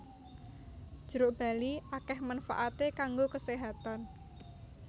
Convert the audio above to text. Jeruk bali akèh manfaaté kanggo keséhatan